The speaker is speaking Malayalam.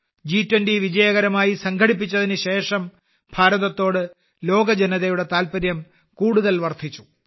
ജി20 വിജയകരമായി സംഘടിപ്പിച്ചതിനുശേഷം ഭാരതത്തോട് ലോക ജനതയുടെ താൽപര്യം കൂടുതൽ വർദ്ധിച്ചു